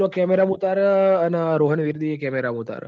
cemera માં ઉતાર રહ અન રોહન એવ્બી એ camera મોઉતાર હ